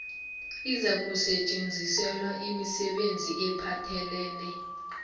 izakusetjenziselwa imisebenzi ephathelene